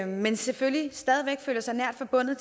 men selvfølgelig stadig væk føler sig nært forbundet